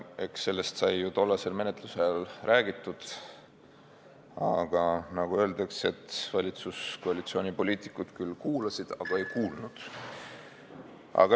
Eks sellest kõigest sai ka tollase menetluse ajal räägitud, kuid, nagu juba öeldud, valitsuskoalitsiooni poliitikud küll kuulasid, aga ei kuulnud.